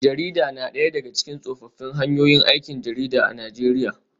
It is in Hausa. Jarida na daya daga cikin tsofaffin hanyoyin aikin jarida a Najeriya